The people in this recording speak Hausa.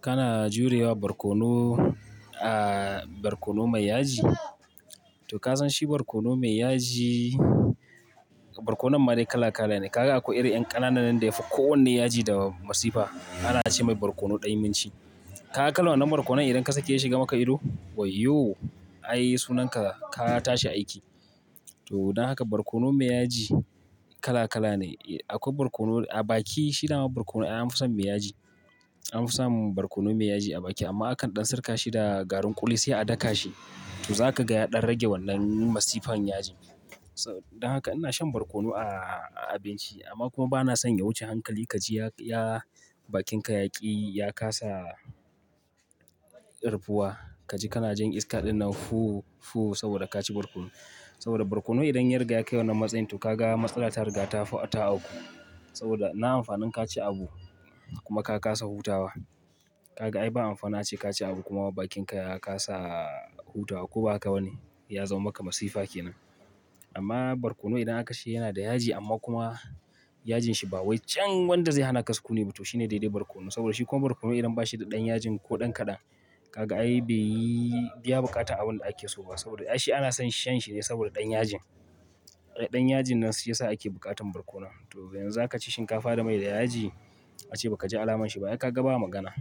Kana jurewa barkono-- barkono mai yaji. To ka san shi barkono mai yaji, barkono ma dai kala kala ne. Ka ga akwai irin 'yan kananan da yafi kowanne yaji da masifa. Ana ce mai barkono dainimci. Ka kalan wannan barkono idan ka sake ya shiga maka ido? Wai yo! Ai sunanka ka tashi aiki. To dan haka barkono mai yaji kala kala ne. Akwai barkono a baki shi dama barkono ai an fi son mai yaji. An fi samun barkono mai yaji a baki amma akan ɗan sirka shi da garin ƙuli sai a daka shi. To za ka ga ya ɗan rage wannan masifan yaji. Dan haka ina shan barkono a abinci amma kuma ba na son ya wuce hankali. Kaji ya bakinka yaƙi, ya kasa rufuwa. Kaji kana jin iska ɗinnan fuu fuu saboda ka ci barkono. Saboda barkono idan ya riga ya kai wannan matsayin to ka ga matsala ta riga ta auku. Saboda na amfanin ka ci abu kuma ka kasa hutawa. Ka ga ai ba amfanin a ce ka ci abu kuma bakinka ya kasa hutawa ko ba ka wani. Ya zama maka masifa ke nan. Amma barkono idan aka ci yana da yaji amma kuma yajin shi ba wai can wanda zai hana ka sukuni ba to shi ne daidai barkono. Saboda shi kuma barkono idan ba shi da ɗan yajin ko ɗan kaɗan ka ga ai bai biya buƙatan abin da ake so ba. Saboda ai shi ana son shan shi ne saboda ɗan yajin. Ɗan yajin nan shi ya sa ake buƙatan barkono. To ya za ka ci shinkafa da mai da yaji ace ba ka ji alamun shi ba. To ai kaga ba magana.